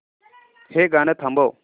हे गाणं थांबव